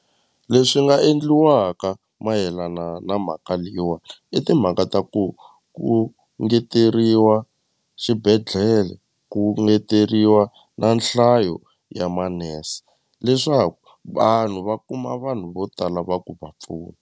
Leswi nga endliwaka mayelana na mhaka leyiwani i timhaka ta ku ku ngeteriwa xibedhlele ku ngeteriwa na nhlayo ya manese leswaku vanhu va kuma vanhu vo tala va ku va pfuna.